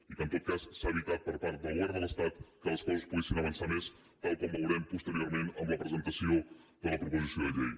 i que en tot cas s’ha evitat per part del govern de l’estat que les coses poguessin avançar més tal com veurem posteriorment en la presentació de la proposició de llei